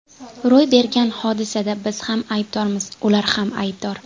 Ro‘y bergan hodisada biz ham aybdormiz, ular ham aybdor.